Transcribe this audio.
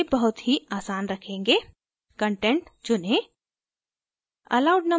हम इसे बहुत ही आसान रखेंगेcontent चुनें